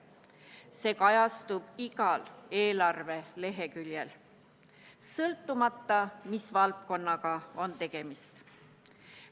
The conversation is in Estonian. See kajastub igal eelarve leheküljel, sõltumata sellest, mis valdkonnaga on tegemist.